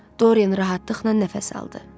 Doryen rahatlıqla nəfəs aldı.